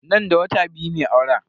Nan da wata biyu ne auren.